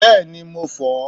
bẹẹni mo fó